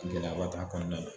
Gɛlɛya b'a' t'a kɔnɔnna na